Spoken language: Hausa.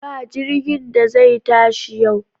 Ba jirgin da zai tashi yau!